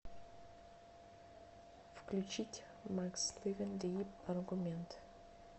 включить макс ливин дип аргумент